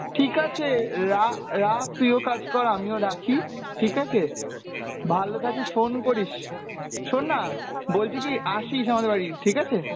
ঠিক আছে রা~রাখ তুইও কাজ কর আমিও রাখি ঠিক আছে? ভালো থাকিস, phone করিস। শোননা good night বলছি কি আসিস আমাদের বাড়ি ঠিক আছে?